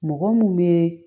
Mɔgɔ mun be